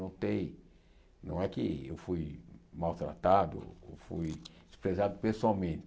Notei não é que eu fui maltratado ou fui desprezado pessoalmente.